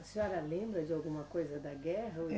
A senhora lembra de alguma coisa da guerra?